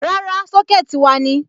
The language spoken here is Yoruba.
Rárá, Sọ́kẹ̀tì wa ni.